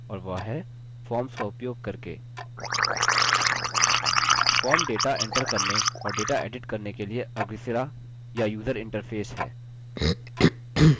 और वह है forms का उपयोग करके forms data एंटर करने और data एडिट करने के लिए अग्रसिरा या यूजर interface है